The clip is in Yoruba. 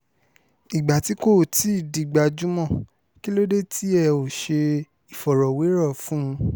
ìgbà tí kò tí ì di gbajúmọ̀ kí ló dé tí ẹ ò ṣe ìfọ̀rọ̀wérọ̀ fún un